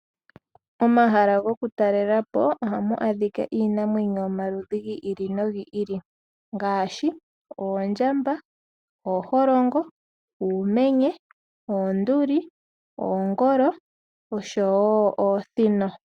Momahala gokutalela po ohamu adhika iinamwenyo yomaludhi gi ili nogi ili ngaashi oondjamba, ooholongo, uumenye, oonduli, oongolo osho wo oosino.